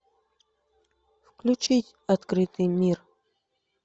включить открытый мир